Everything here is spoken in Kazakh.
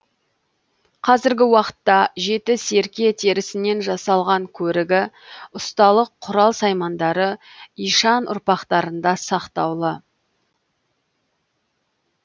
қазіргі уақытта жеті серке терісінен жасалған көрігі ұсталық құрал саймандары ишан ұрпақтарында сақтаулы